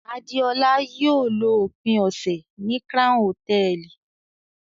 Adeola yóò lo ópin ọsẹ ni Crown Hotẹẹli